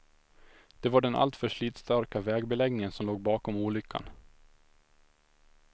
Det var den alltför slitstarka vägbeläggningen som låg bakom olyckan.